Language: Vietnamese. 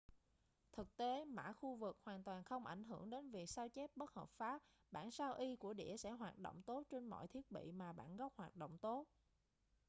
thực tế mã khu vực hoàn toàn không ảnh hưởng đến việc sao chép bất hợp pháp bản sao y của đĩa sẽ hoạt động tốt trên mọi thiết bị mà bản gốc hoạt động tốt